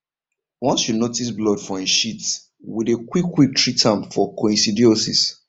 once you notice blood for em shit we dey quick quick treat am for coccidiosis